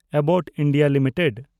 Abbott India limited